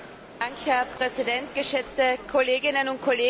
Herr Präsident! Geschätzte Kolleginnen und Kollegen!